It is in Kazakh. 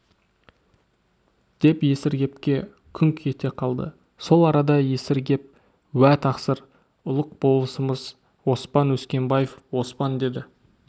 деп есіргепке күңк ете қалды сол арада есіргеп уә тақсыр ұлық болысымыз оспан өскенбаев оспан деді